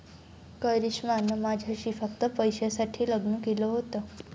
'करिष्मानं माझ्याशी फक्त पैशासाठी लग्न केलं होतं'